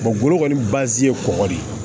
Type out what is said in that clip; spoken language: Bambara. bolo kɔni bazi ye kɔgɔ de ye